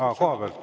Aa, kohapealt.